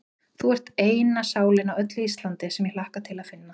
Þú ert eina sálin á öllu Íslandi, sem ég hlakka til að finna.